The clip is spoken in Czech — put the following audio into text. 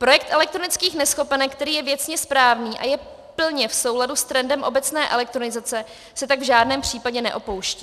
Projekt elektronických neschopenek, který je věcně správný a je plně v souladu s trendem obecné elektronizace, se tak v žádném případě neopouští.